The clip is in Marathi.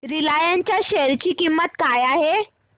रिलायन्स च्या शेअर ची किंमत काय आहे